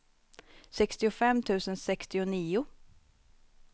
sextiofem tusen sextionio